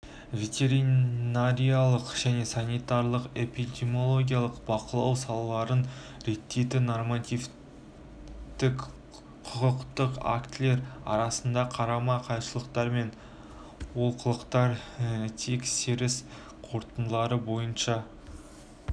ветеринарлық және санитарлық-эпидемиологиялық бақылау салаларын реттейтін нормативтік құқықтық актілер арасында қарама-қайшылықтар мен олқылықтар тексеріс қорытындылары бойынша